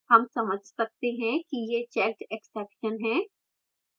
हम समझ सकते हैं कि यह checked exception है